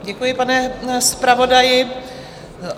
Děkuji, pane zpravodaji.